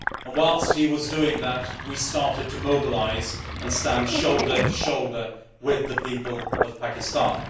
Whilst he was doing that, we started to mobilise and stand shoulder to shoulder with the people of Pakistan.